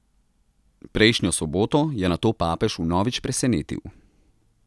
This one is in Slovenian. Prejšnjo soboto je nato papež vnovič presenetil.